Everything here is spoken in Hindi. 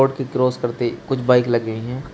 की क्रॉस करते कुछ बाइक लग गई हैं।